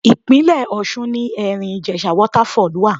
Ìpínlè Ọ̀ṣun ni Ẹ̀rìn-Ìjèṣa Waterfall wà.